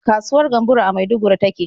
Kasuwar Gamburo a Maiduguri ta ke.